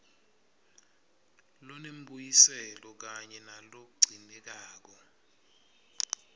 lonembuyiselo kanye nalogcinekako